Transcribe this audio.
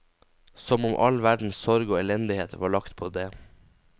Som om all verdens sorg og elendighet var lagt på det.